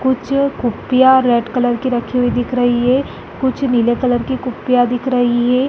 कुछ कुप्पियां red colour की रखी हुई दिख रही है कुछ नीले कलर की कुप्पियां दिख रही है।